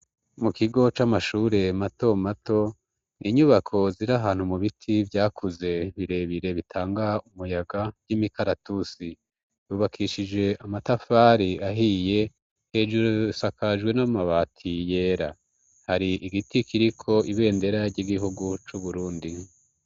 Mu kigo c'amashure mato mato ninyubako zira ahantu mu biti vyakuze birebire bitanga umuyaga vy'imikaratusi yubakishije amatafari ahiye hejuru sakajwe no mabati yera hari igiti kiriko ibendera ry'igihugu c'uburundi.